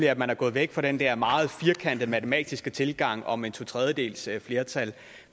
at man er gået væk fra den der meget firkantede matematiske tilgang om et totredjedelsflertal